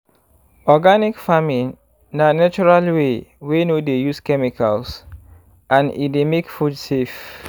organic farming na natural type wey no dey use chemicals and e dey make food safe.